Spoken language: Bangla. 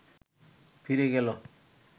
ফিরে গেল